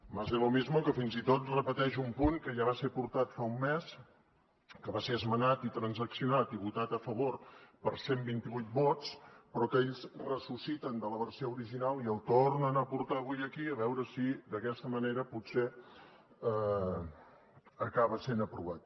más de lo mismo que fins i tot repeteix un punt que ja va ser portat fa un mes que va ser esmenat i transaccionat i votat a favor per cent i vint vuit vots però que ells ressusciten de la versió original i el tornen a portar avui aquí a veure si d’aquesta manera potser acaba sent aprovat